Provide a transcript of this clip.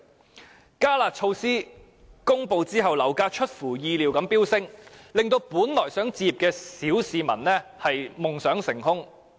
在"加辣"措施公布後，樓價出乎意料地飆升，令本來想置業的小市民夢想成空。